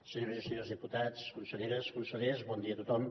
senyores i senyors diputats conselleres consellers bon dia a tothom